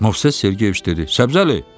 Moisey Sergeyeviç dedi: